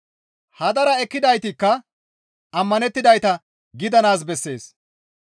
Hadara ekkidaytikka ammanettidayta gidanaas bessees.